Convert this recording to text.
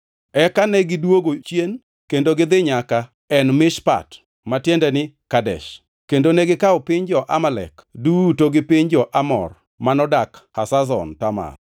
Eka negidwogo chien kendo gidhi nyaka En Mishpat (ma tiende ni Kadesh), kendo negikawo piny jo-Amalek duto gi piny jo-Amor manodak Hazazon Tamar.